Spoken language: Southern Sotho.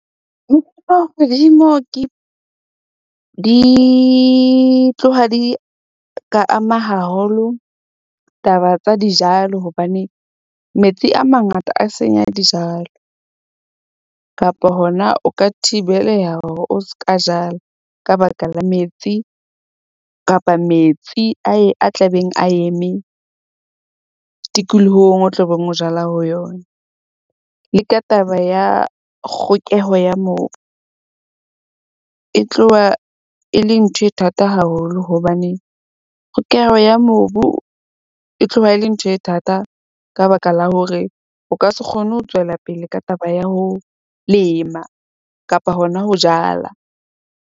Di tloha di ka ama haholo taba tsa dijalo hobane metsi a mangata a senya dijalo kapa hona o ka thibeleha hore o ska jala, ka baka la metsi kapa metsi a tlabeng a eme tikolohong o tlo beng o jala ho yona. Le ka taba ya kgokeho ya mobu, e tloha e le ntho e thata haholo hobane kgokeho ya mobu, e tloha e le ntho e thata ka baka la hore o ka se kgone ho tswela pele ka taba ya ho lema kapa hona ho jala.